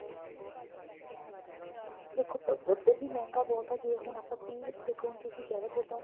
ਦੇਖੋ ਉੱਧਰ ਵੀ ਮਹਿੰਗਾ ਬਹੁਤ ਆ ਜੇ ਹੁਣ ਆਪਾਂ ਤਿਹ ਦੇਖੋ ਹੁਣ ਤੁਸੀਂ ਕਿਹ ਰਹੇ ਹੋਣ ਤੁਹਾਡਾ